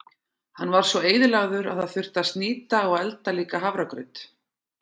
Hann var svo eyðilagður að það þurfti að snýta og elda líka hafragraut.